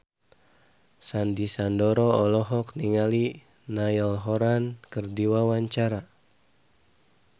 Sandy Sandoro olohok ningali Niall Horran keur diwawancara